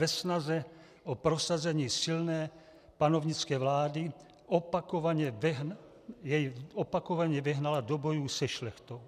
Ve snaze o prosazení silné panovnické vlády jej opakovaně vehnala do bojů se šlechtou.